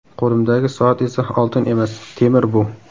Qo‘limdagi soat esa oltin emas, temir bu.